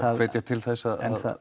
að hvetja til þess að